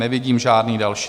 Nevidím žádný další.